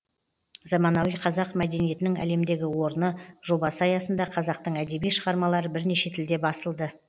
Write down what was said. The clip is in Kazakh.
заманауи қазақ мәдениетінің әлемдегі орны жобасы аясында қазақтың әдеби шығармалары бірнеше тілде басылды